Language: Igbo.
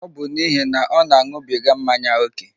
Ọ bụ n'ihi na ọ na-aṅụbiga mmanya ókè.